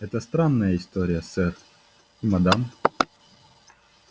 это странная история сэр и мадам